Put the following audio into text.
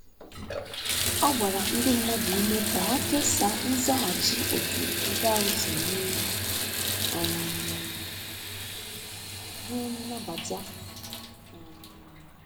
Ọ gbara ndi madụ ụme ka ha kesaa nzaghachi otu ebe ahu si mee um ka nwee nnabata um